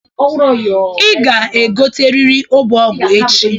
ị ga-egoteriri Ọbọgwụ echi